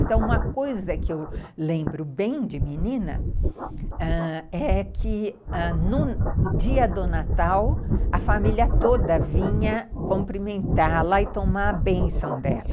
Então, uma coisa que eu lembro bem de menina ãh é que no dia do Natal, a família toda vinha cumprimentá-la e tomar a bênção dela.